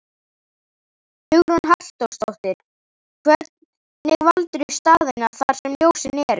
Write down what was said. Hugrún Halldórsdóttir: Hvernig valdirðu staðina þar sem ljósin eru?